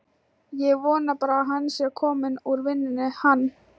Ég vona bara að hann sé kominn úr vinnunni, hann.